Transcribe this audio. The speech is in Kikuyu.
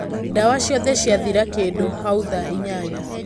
ndawa ciothe ciathira kĩndũ hau thaa inyanya.